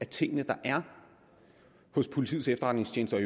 ting der er hos politiets efterretningstjeneste og